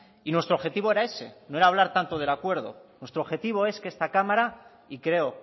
y nuestro objetivo era ese no era hablar tanto del acuerdo nuestro objetivo es que esta cámara y creo